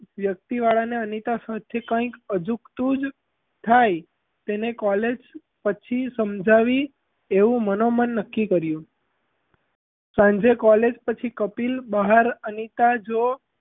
વ્યક્તિવાળાને અનિતા સાથે કઈક અજુગતું જ થાય તેને college પછી સમજાવી એવું મનોમન નક્કી કર્યું સાંજે college પછી કપિલ બહાર અનિતા જો,